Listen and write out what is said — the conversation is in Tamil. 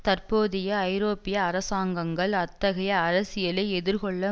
தற்போதைய ஐரோப்பிய அரசாங்கங்கள் அத்தகைய அரசியலை எதிர்கொள்ள